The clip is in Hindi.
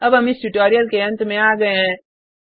अब हम इस ट्यूटोरियल के अंत में आ गये हैं